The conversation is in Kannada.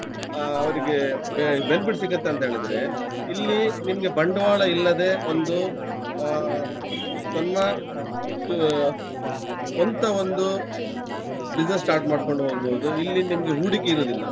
ಅಹ್ ಅವರಿಗೆ be~ benefit ಸಿಗತ್ತೆ ಅಂತ ಹೇಳಿದ್ರೆ ಇಲ್ಲಿ ನಿಮ್ಗೆ ಬಂಡ್ವಾಳ ಇಲ್ಲದೆ ಒಂದು ಅಹ್ ತನ್ನ ಅಹ್ ಸ್ವಂತ ಒಂದು business start ಮಾಡ್ಕೊಂಡು ಹೋಗ್ಬಹುದು. ಇಲ್ಲಿ ನಿಮ್ಗೆ ಹೂಡಿಕೆ ಇರುದಿಲ್ಲ.